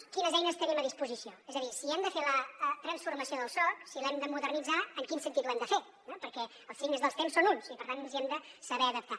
quines eines tenim a disposició és a dir si hem de fer la transformació del soc si l’hem de modernitzar en quin sentit ho hem de fer perquè els signes dels temps són uns i per tant ens hi hem de saber adaptar